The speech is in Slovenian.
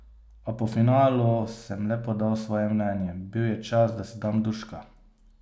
A po finalu sem le podal svoje mnenje, bil je čas, da si dam duška.